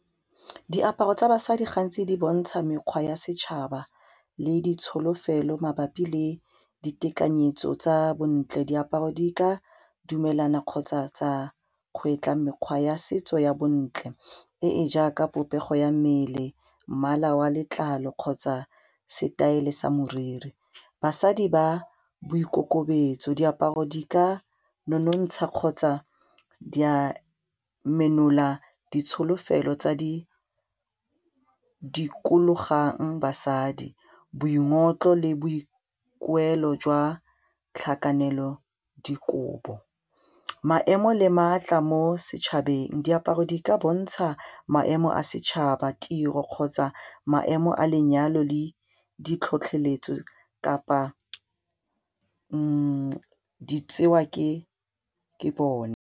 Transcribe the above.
Diaparo tsa basadi gantsi di bontsha mekgwa ya setšhaba le ditsholofelo mabapi le ditekanyetso tsa bontle, diaparo di ka dumelana kgotsa tsa kgwetla mekgwa ya setso ya bontle e e jaaka popego ya mmele, mmala wa letlalo kgotsa setaele sa moriri. Basadi ba boikokobetso, diaparo di ka nonontsha kgotsa di a menola ditsholofelo tsa di dikologang basadi, boingotlo le boikuelo jwa tlhakanelodikobo, maemo le maatla mo setšhabeng. Diaparo di ka bontsha maemo a setšhaba, tiro, kgotsa maemo a lenyalo le ditlhotlheletso kapa di tsewa ke bone.